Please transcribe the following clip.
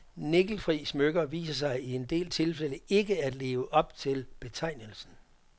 Nikkelfri smykker viser sig i en del tilfælde ikke at leve op til betegnelsen.